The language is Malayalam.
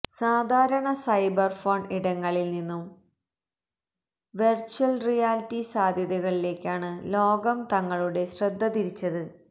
സാധാരണ സൈബര് ഫോണ് ഇടങ്ങളില് നിന്നും വെര്ച്വല് റിയാലിറ്റി സാധ്യതകളിലേക്കാണ് ലോകം തങ്ങളുടെ ശ്രദ്ധതിരിച്ചത്